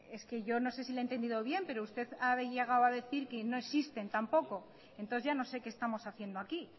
es que yo no sé si le he entendido bien pero usted ha llegado a decir que no existen tampoco entonces ya no sé que estamos haciendo aquí